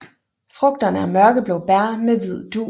Frugterne er mørkeblå bær med hvid dug